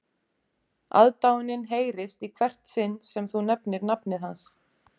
Aðdáunin heyrist í hvert sinn sem þú nefnir nafnið hans